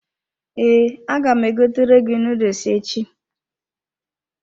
Ee, aga m egotere gị noodles echi.